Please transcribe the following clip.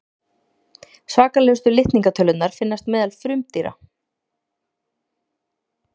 svakalegustu litningatölurnar finnast meðal frumdýra